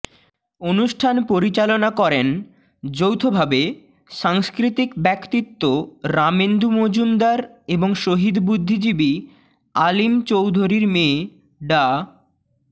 অনুষ্ঠান পরিচালনা করেন যৌথভাবে সাংস্কৃতিক ব্যক্তিত্ব রামেন্দু মজুমদার এবং শহীদ বুদ্ধিজীবী আলিম চৌধুরীর মেয়ে ডা